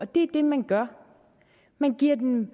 det er det man gør man giver dem